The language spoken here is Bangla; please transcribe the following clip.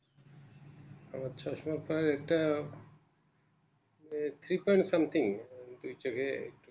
আমার চশমার Power টা ওই Three point something হৈছেগে